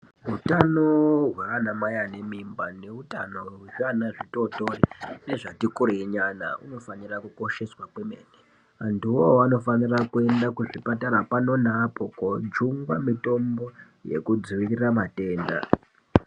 Hutano hwana Mai ane mimba nehutano hwezviana zvitotori Zvatikurei nyana unofanira Kukosheswa angu anofana kuendesa kuzvipatara undoona mitombo yekudzivirira matenda.